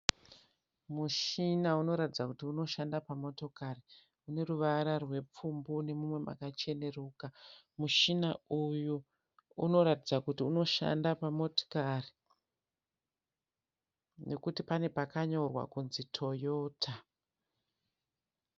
Mushina unoratidza kuti unoshanda pamotokari une ruvara rwepfumbu nemumwe makacheneruka. Mushina uyu unoratidza kuti unoshanda pamotikari nekuti pane pakanyorwa kunzi Toyota.